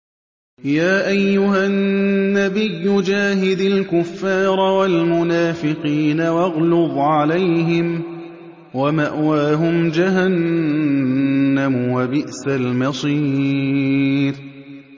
يَا أَيُّهَا النَّبِيُّ جَاهِدِ الْكُفَّارَ وَالْمُنَافِقِينَ وَاغْلُظْ عَلَيْهِمْ ۚ وَمَأْوَاهُمْ جَهَنَّمُ ۖ وَبِئْسَ الْمَصِيرُ